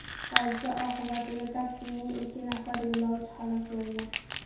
Hodisa oqibatida taksining ikki nafar yo‘lovchi halok bo‘lgan.